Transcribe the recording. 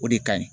O de ka ɲi